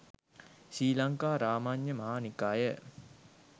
Sri Lanka Ramanna Maha Nikaya